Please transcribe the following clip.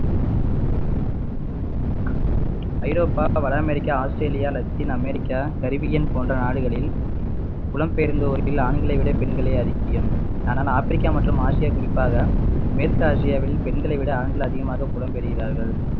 ஐரோப்பா, வட America, Australia, Latin America, Caribbean போன்ற நாடுகளில் புலம்பெயர்ந்தோரில் ஆண்களை விட பெண்களே அதிகம். ஆனால் ஆப்பிரிக்கா மற்றும் ஆசியா குறிப்பாக மேற்கு ஆசியாவில் பெண்களை விட ஆண்கள் அதிகமாக புலம்பெயர்கிறார்கள்